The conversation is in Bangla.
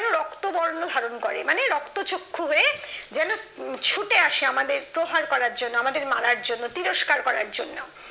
রক্তবর্ণ ধারণ করে মানে রক্তচক্ষু হয়ে যেন উম ছুটে আসে আমাদের প্রহার করার জন্য, আমাদের মারার জন্য, তিরস্কার করার জন্য